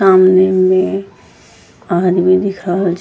सामने में आदमी दिख रहल छ --